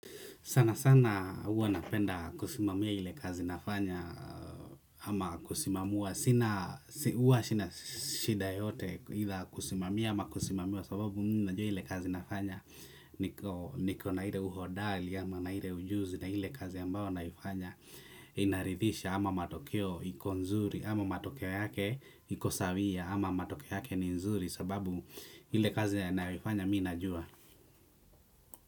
Sanasana huwa napenda kusimamia ile kazi nafanya ama kusimamiwa. Sina huwa sina shida yoyote aidha kusimamia ama kusimamiwa sababu mimi najua hile kazi nafanya niko. Niko na ile uhodari ama na ile ujuzi na ile kazi ambayo naifanya inaridhirisha ama matokeo iko nzuri ama matokeo yake iko sawia ama matokeo yake ni nzuri sababu ile kazi naifanya mimi najua.